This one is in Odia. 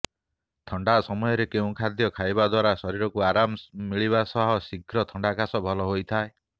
ଥଣ୍ଡା ସମୟରେ କେଉଁ ଖାଦ୍ୟ ଖାଇବା ଦ୍ୱାରା ଶରୀରକୁ ଆରମ ମିଳିବା ସହ ଶୀଘ୍ର ଥଣ୍ଡାକାଶ ଭଲ ହୋଇଥାଏ